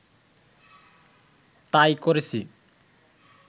তাই করেছি